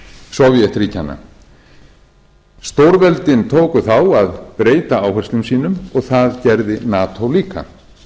sovétríkjanna stórveldin tóku þá að breyta áherslum sínum og það gerði nato líka